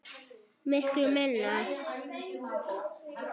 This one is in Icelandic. Miklu minna.